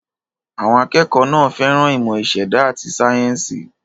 Àwọn akẹ́kọ̀ọ́ náà fẹ́ràn ìmọ̀ ìṣẹ̀dá àti sáyẹ́ńsì.